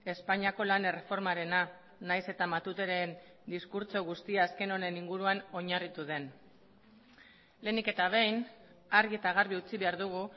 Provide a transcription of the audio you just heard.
espainiako lan erreformarena nahiz eta matuteren diskurtso guztia azken honen inguruan oinarritu den lehenik eta behin argi eta garbi utzi behar dugu